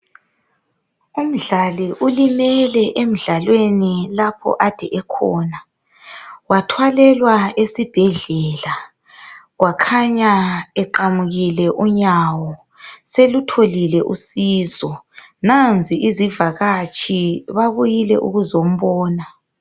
Umdlali ulimele emidlalweni lapho ade ekhona wathwalelwa esibhedlela wakhanya eqamukile unyawo selutholile uncedo nanzi izivakatshi babuyile ukuzombona.